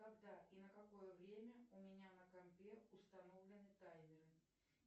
когда и на какое время у меня на компе установлены таймеры